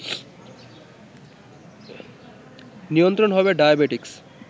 নিয়ন্ত্রন হবে ডায়াবেটিকস